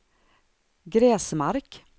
Gräsmark